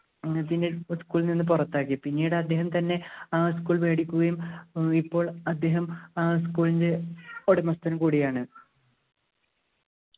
school ൽനിന്ന് പുറത്താക്കി പിന്നീട് അദ്ദേഹം തന്നെ ആ school മേടിക്കുകയും ഇപ്പോൾ അദ്ദേഹം ആ school ൻ്റെ ഉടമസ്ഥൻ കൂടിയാണ്